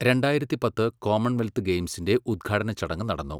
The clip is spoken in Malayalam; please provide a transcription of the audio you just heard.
രണ്ടായിരത്തി പത്ത് കോമൺവെൽത്ത് ഗെയിംസിന്റെ ഉദ്ഘാടന ചടങ്ങ് നടന്നു.